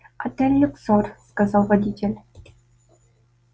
отель люксор сказал водитель